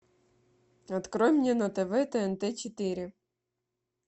открой мне на тв тнт четыре